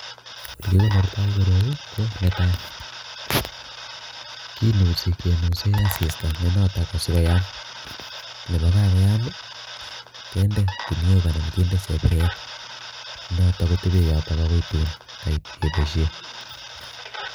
Ole kikonortoi koroi ko netai, kinusi kenuse asista nenoto kosikoyaam, ko kakoyam kende kuniok anan kende chepiret noto kotepe yoto akoi tuun kait kepoishen.